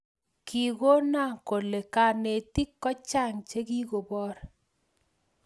kingonah kole kanetik kochang chegigoboor